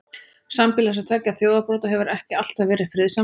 Sambýli þessara tveggja þjóðarbrota hefur ekki alltaf verið friðsamlegt.